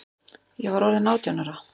Ég var orðin átján ára.